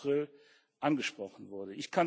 10. April angesprochen wurde.